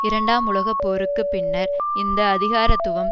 இரண்டாம் உலக போருக்கு பின்னர் இந்த அதிகாரத்துவம்